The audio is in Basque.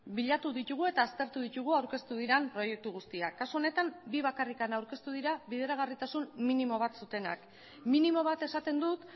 bilatu ditugu eta aztertu ditugu aurkeztu diren proiektu guztiak kasu honetan bi bakarrik aurkeztu dira bideragarritasun minimo bat zutenak minimo bat esaten dut